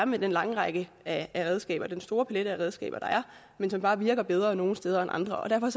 med den lange række af redskaber den store palet af redskaber der er som bare virker bedre nogle steder end andre derfor